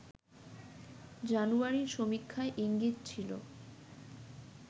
জানুয়ারির সমীক্ষায় ইঙ্গিত ছিল